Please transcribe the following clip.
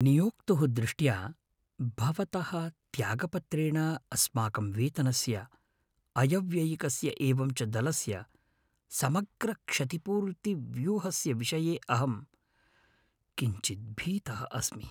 नियोक्तुः दृष्ट्या, भवतः त्यागपत्रेण अस्माकं वेतनस्य अयव्ययिकस्य एवं च दलस्य समग्रक्षतिपूर्तिव्यूहस्य विषये अहं किञ्चित् भीतः अस्मि।